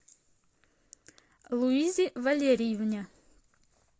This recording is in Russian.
луизе валериевне